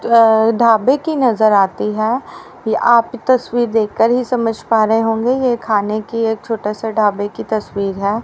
अह ढाबे की नजर आती है ये आप तस्वीर देखकर ही समझ पा रहे होंगे ये खाने की एक छोटा सा ढाबे की तस्वीर है।